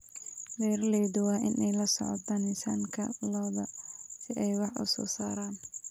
Beeraleydu waa inay la socdaan miisaanka lo'da si ay wax u soo saaraan.